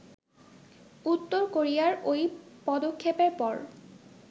উত্তর কোরিয়ার ওই পদক্ষেপের পর